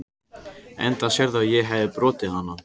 Enda sérðu að ég hefi brotið hana.